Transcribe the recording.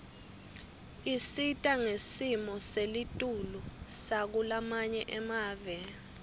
isita ngesimo selitulu sakulamanye emave